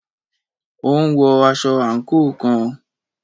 Ó ń wọ aṣọ àǹkóò kan.